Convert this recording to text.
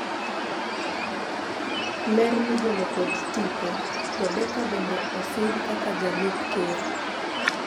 ler migolo kod tipo, Rebeka bende osidh kaka jalup ker